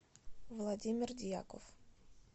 владимир дьяков